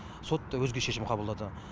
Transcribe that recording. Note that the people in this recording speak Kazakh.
сот өзге шешім қабылдады